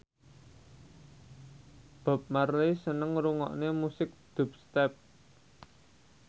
Bob Marley seneng ngrungokne musik dubstep